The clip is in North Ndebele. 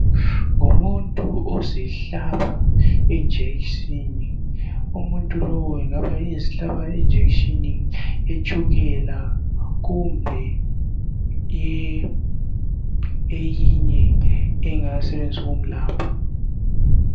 ngumuntu ozihlaba i injection umuntu lo engaba ezihlaba i injection yetshukela kumbe eyinye engasetshenziswa ukumelapha